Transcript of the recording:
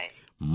মথুরায়